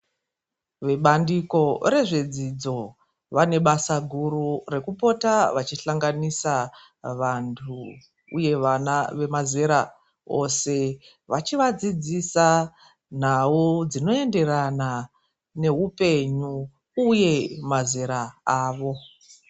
Mubandiko rezvedzidzo vane basa guru rekupota vachihlanganisa vanthu uye vana vemazera ose. Vachivadzidzisa nhau dzinoenderana neupenyu, uye mazera avo.